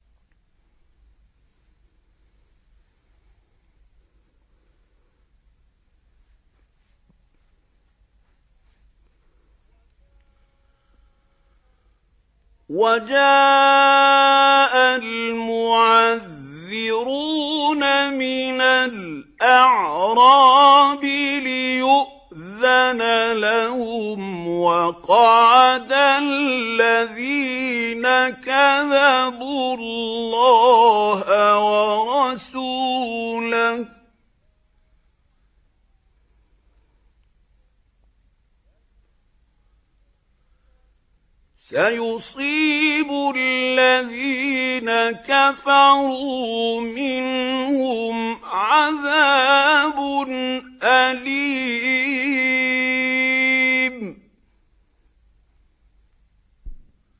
وَجَاءَ الْمُعَذِّرُونَ مِنَ الْأَعْرَابِ لِيُؤْذَنَ لَهُمْ وَقَعَدَ الَّذِينَ كَذَبُوا اللَّهَ وَرَسُولَهُ ۚ سَيُصِيبُ الَّذِينَ كَفَرُوا مِنْهُمْ عَذَابٌ أَلِيمٌ